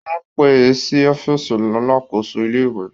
Wọ́n pè é sí ọ́fíìsì alakoso ìlé-ìwé